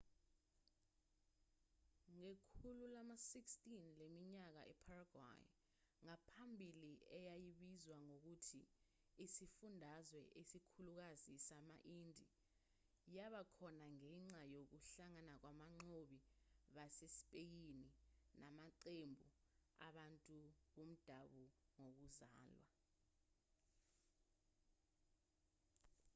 ngekhulu lama-16 leminyaka iparaguay ngaphambili eyayibizwa ngokuthi isifundazwe esikhulukazi sama-indie yaba khona ngenxa yokuhlangana kwabanqobi basespeyini namaqembu abantu bomdabu ngokuzalwa